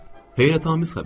Heyrətamiz xəbərdir.